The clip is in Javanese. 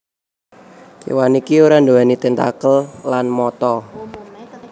Kewan iki ora nduweni tentakel lan mata